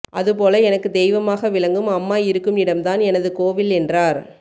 அதுபோல எனக்கு தெய்வமாக விளங்கும் அம்மா இருக்கும் இடம்தான் எனது கோவில் என்றார்